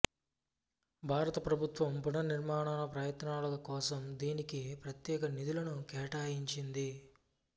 భారత ప్రభుత్వం పునర్నిర్మాణ ప్రయత్నాల కోసం దీనికి ప్రత్యేక నిధులను కేటాయించింది